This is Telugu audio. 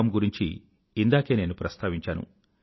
com గురించి ఇందాకే నేను ప్రస్తావించాను